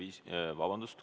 Soov on selge.